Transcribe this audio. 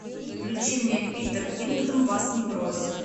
включи мне питер кингдом вас не бросит